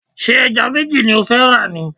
Ṣé ẹja méjì ni ó fẹ́ rà ni?